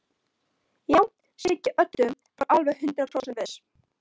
Já, Siggi Öddu var alveg hundrað prósent viss.